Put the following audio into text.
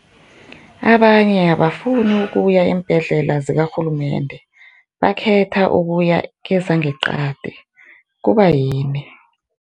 Abanye abafuni ukuya eembhedlela zikarhulumende bakhetha ukuya kezangeqadi, kubayini?